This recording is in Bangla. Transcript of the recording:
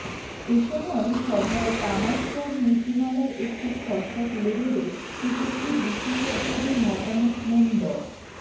এসময় সভায় তামাক কর নীতিমালার একটি খসড়া তুলে ধরে উপস্থিত বিশেষজ্ঞদের মতামত নেন ড